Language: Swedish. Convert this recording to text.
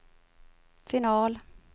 final